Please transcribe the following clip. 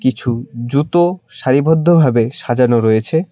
কিছু জুতো সারিবদ্ধভাবে সাজানো রয়েছে।